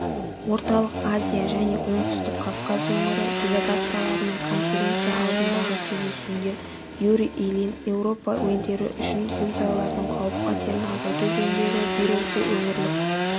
орталық азия және оңтүстік кавказ өңірі делегацияларының конференция алдындағы кездесуінде юрий ильин еуропа елдері үшін зілзалалардың қауіп-қатерін азайту жөніндегі бюросы өңірлік